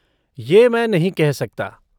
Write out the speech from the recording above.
यह मैं नहीं कह सकता।